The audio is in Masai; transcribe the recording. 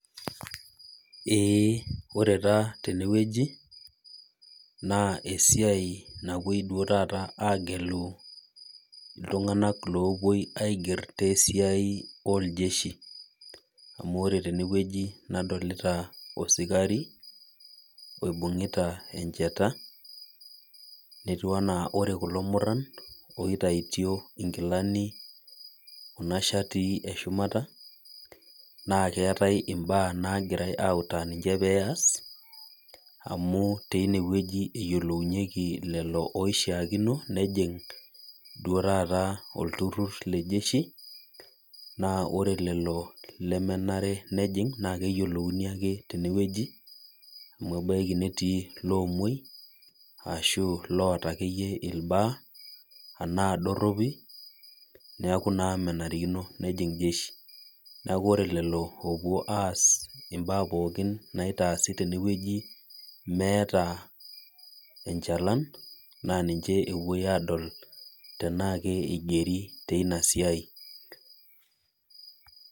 Ee, ore taa tenewueji, naa esiai napoi duo taata agelu iltung'anak lopoi aiger tesiai oljeshi. Amu ore tenewueji nadolita osikari, oibung'ita enchata, netiu enaa ore kulo murran oitaitio inkilani kuna shatii eshumata, naa keetae imbaa nagirai autaa ninche peas, amu tinewueji eyiolounyeki lelo oishaakino, nejing' duo taata olturrur le jeshi, naa ore lelo lemenare nejing' naa keyiolouni ake tenewueji, amu ebaiki netii iloomuoi, ashu loota akeyie irbaa, anaa dorropi, neeku naa menarikino nejing' jeshi. Neeku ore lelo opuo aas imbaa pookin naitaasi tenewueji meeta enchalan, naa ninche epoi adol, tenaa ke igeri teina siai.